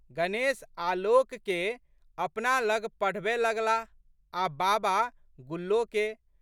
गणेश आलोकके अपना लग पढ़बए लगलाह आ' बाबा गुल्लोके।